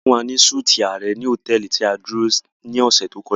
A fun wa ni súti ààrẹ ni hotẹẹli ti a duro ni ọ̀ṣẹ̀ to kọja.